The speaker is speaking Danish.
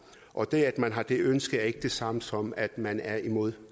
og det at man har det ønske er ikke det samme som at man er imod